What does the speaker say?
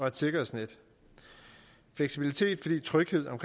et sikkerhedsnet fleksibilitet fordi tryghed om